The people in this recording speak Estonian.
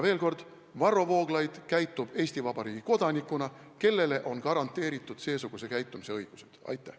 Veel kord, Varro Vooglaid käitub Eesti Vabariigi kodanikuna, kellele on garanteeritud õigus seesuguselt käituda.